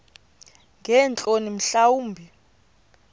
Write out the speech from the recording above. ngeentloni mhla wumbi